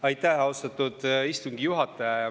Aitäh, austatud istungi juhataja!